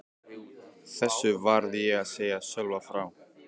Þessu varð ég að segja Sölva frá.